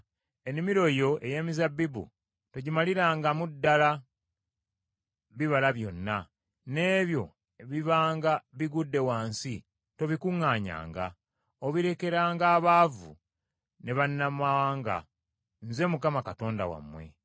Ennimiro yo ey’emizabbibu togimalirangamu ddala bibala byonna, n’ebyo ebibanga bigudde wansi tobikuŋŋaanyanga. Obirekeranga abaavu ne bannamawanga. Nze Mukama Katonda wammwe.